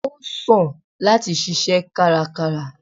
o sán latí sìsé kárákárá